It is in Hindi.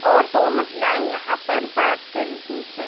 और दो महिलाएं यहां पर बात कर रही हैं।